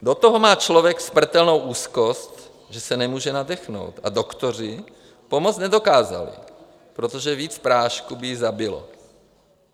Do toho má člověk smrtelnou úzkost, že se nemůže nadechnout, a doktoři pomoct nedokázali, protože víc prášků by ji zabilo.